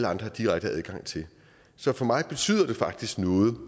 har direkte adgang til så for mig betyder det faktisk noget